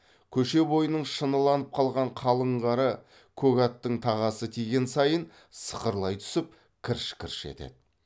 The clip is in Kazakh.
көше бойының шыныланып қалған қалың қары көк аттың тағасы тиген сайын сықырлай түсіп кірш кірш етеді